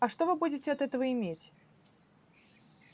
а что вы будете от этого иметь